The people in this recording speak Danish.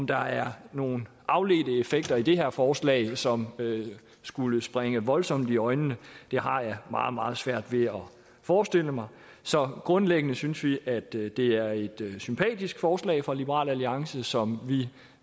der er nogle afledte effekter i det her forslag som skulle springe voldsomt i øjnene har jeg meget meget svært ved at forestille mig så grundlæggende synes vi at det det er et sympatisk forslag fra liberal alliance som vi